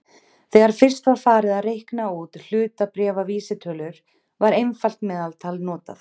Þegar fyrst var farið að reikna út hlutabréfavísitölur var einfalt meðaltal notað.